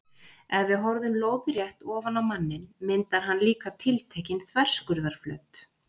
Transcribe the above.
Ef við horfum lóðrétt ofan á manninn myndar hann líka tiltekinn þverskurðarflöt.